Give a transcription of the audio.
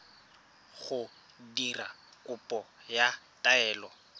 go dira kopo ya taelo